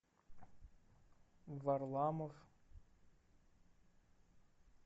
варламов